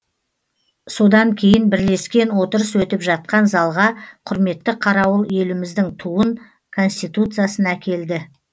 содан кейін бірлескен отырыс өтіп жатқан залға құрметті қарауыл еліміздің туын конституциясын әкелді